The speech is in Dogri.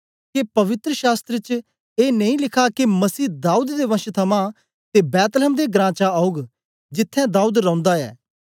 के पवित्र शास्त्र च ए नेई लिखा के मसीह दाऊद दे वंश थमां ते बैतलहम दे घरां चा औग जिथें दाऊद रौंदा ऐ